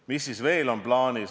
Mis siis veel plaanis on?